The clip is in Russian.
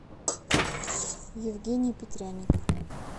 евгений петряник